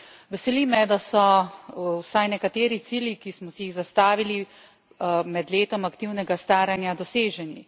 Veseli me, da so vsaj nekateri cilji, ki smo si jih zastavili med letom aktivnega staranja, doseženi.